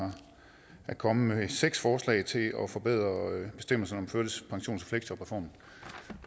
er kommet med seks forslag til at at forbedre bestemmelserne om førtidspensions og fleksjobreformen